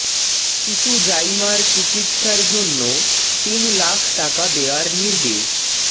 শিশু জাইমার চিকিৎসার জন্য তিন লাখ টাকা দেয়ার নির্দেশ